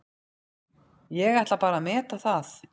Ég ætla bara að meta það.